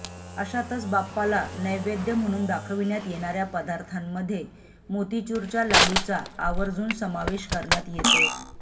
अशातच बाप्पाला नैवेद्य म्हणून दाखविण्यात येणाऱ्या पदार्थांमध्ये मोतीचूरच्या लाडूचा आवर्जुन समावेश करण्यात येतो